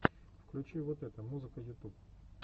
включи вот это музыка ютуб